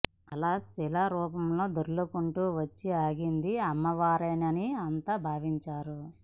అలా శిలా రూపంలో దొర్లుకుంటూ వచ్చి ఆగింది అమ్మవారేనని అంతా భావించారు